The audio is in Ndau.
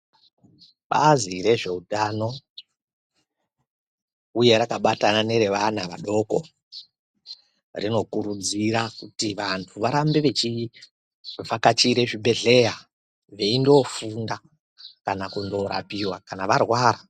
Bazi rezveutano uye rakabatana nerevana vadoko rinokurudzira kuti vantu varambe vechivhakachire zvibhedhleya veindofunda kana kurapiwa kana varwara.